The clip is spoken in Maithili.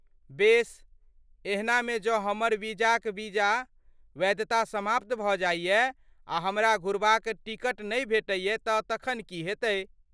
बेस, एहनामे जँ हमर वीजाक वीजा वैधता समाप्त भऽ जाइए आ हमरा घुरबाक टिकट नै भेटैए तँ तखन की हेतै?